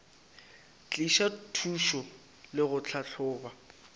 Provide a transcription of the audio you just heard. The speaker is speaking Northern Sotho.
tliša thušo le go tlhahloba